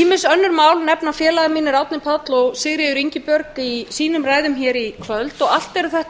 ýmis önnur mál nefna félagar mínir árni páll og sigríður ingibjörg í sínum ræðum hér í kvöld allt eru þetta